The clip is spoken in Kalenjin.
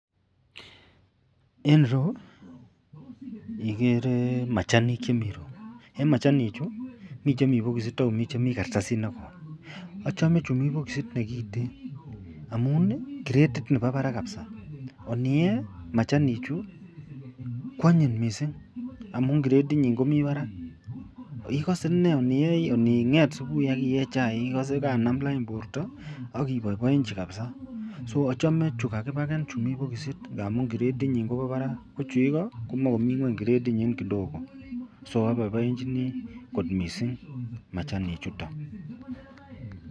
En ireyu ikere machanik chemii ireyu en machanichu mii chemi bokisit ak komii chemii kartasit nekoi achome chumii bokisit nekiten amun kiretit nebo barak kabisa, aniyee machanichu kwanyiny mising amun kiretinyin komii barak, ikose ineei ining'et subui ak iyee chaik ikose kanam lain borto ak iboiboenchi kabisa, so achome chuu kakibaken chuu mii bokisit amun kiretinyin kobo barak, ko chuuu ikoo komoe komii ngweny kiretinyin kidogo, so oboiboenchini kot machani chuton.